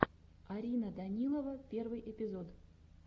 арина данилова первый эпизод